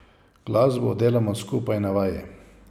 Glasbo delamo skupaj na vaji.